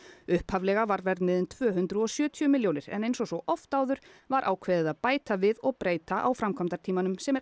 upphaflega var verðmiðinn tvö hundruð og sjötíu milljónir en eins og svo oft áður var ákveðið að bæta við og breyta á framkvæmdatímanum sem er